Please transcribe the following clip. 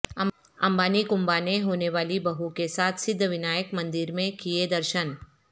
امبانی کنبہ نے ہونے والی بہو کے ساتھ سدھ ونائک مندر میں کئے درشن